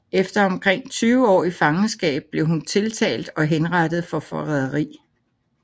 Efter omkring tyve år i fangenskab blev hun tiltalt og henrettet for forræderi